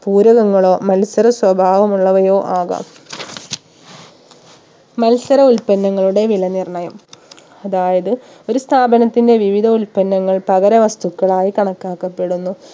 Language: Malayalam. പൂരകങ്ങളോ മത്സര സ്വഭാവമുള്ളവയോ ആകാം മത്സര ഉൽപ്പന്നങ്ങളുടെ വില നിർണയം അതായത് ഒരു സ്ഥാപനത്തിന്റെ വിവിധ ഉൽപ്പന്നങ്ങൾ പകര വസ്തുക്കളായി കണക്കാക്കപ്പെടുന്നു